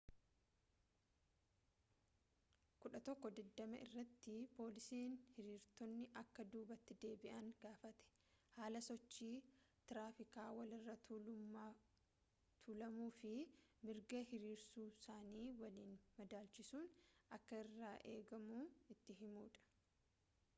11:20 irratti poolisiin hiriirtotni akka dubatti deebi'an gaafate haala sochii tiraafikaa walirra tuulamuufi mirga hiriiruusaanii waliin madalchiisuun akka irraa eegamu itti himuudhaan